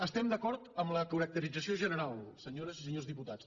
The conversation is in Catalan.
estem d’acord amb la caracterització general senyores i senyors diputats